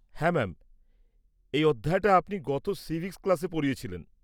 -হ্যাঁ ম্যাম। এই অধ্যায়টা আপনি গত সিভিক্স ক্লাসে পড়িয়েছিলেন।